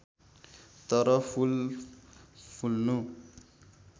तर फूल फुल्नु